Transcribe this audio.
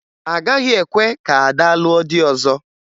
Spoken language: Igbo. A gaghị ekwe ka Ada lụọ di ọzọ